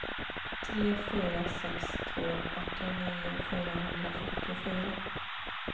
tre fyra sex två åttionio fyrahundrafyrtiofyra